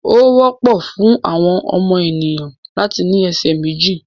Ó wọ́pọ̀ fún àwọn ènìyàn láti ní ẹsẹ̀ méjì.